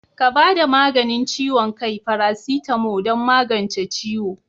Ka bada maganin ciwon kai"paracetamo" don magance ciwo.